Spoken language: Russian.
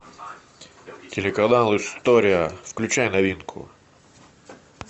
телеканал история включай новинку